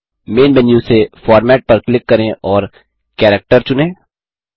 man menu से format पर click करें और कैरेक्टर चुनें